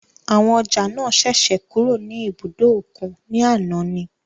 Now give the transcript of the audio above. Àwọn ọjà náà ṣẹ̀ṣẹ̀ kúrò ní ibùdó òkun ní àná ni.